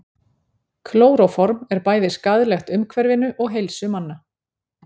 Klóróform er bæði skaðlegt umhverfinu og heilsu manna.